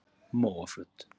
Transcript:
Móaflöt